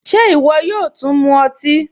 Ṣé iwọ yóò tún mú ọtí?